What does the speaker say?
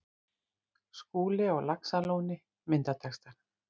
Skúli á Laxalóni Myndatextar